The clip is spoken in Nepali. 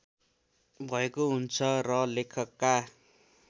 भएको हुन्छ र लेखकका